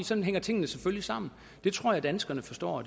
sådan hænger tingene selvfølgelig sammen det tror jeg danskerne forstår